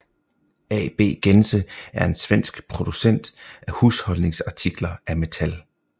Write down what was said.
AB Gense er en svensk producent af husholdningsartikler af metal